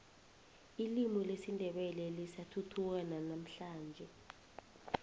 ilimi lesindebele lisathuthuka nanamuhlanje